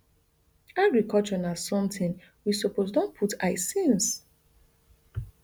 agriculture na somtin we suppose don put eye since